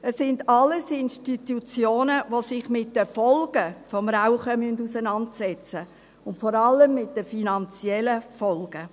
Es sind alles Institutionen, die sich mit den Folgen des Rauchens auseinandersetzen müssen und vor allem mit den finanziellen Folgen.